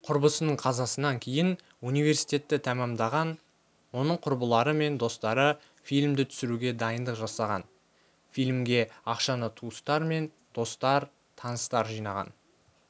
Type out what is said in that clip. құрбысының қазасынан кейін университетті тәмамдаған оның құрбылары мен достары фильмді түсіруге дайындық жасаған фильмге ақшаны туыстар мен достар таныстар жинаған